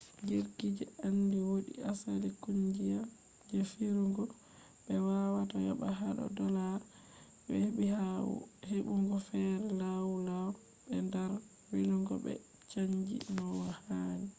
jirgije andi wodi asali kungiya je firugo be wawata yoba hado dolllars je hebi ha hebugo fere lau lau be dar velugo be chanji no hani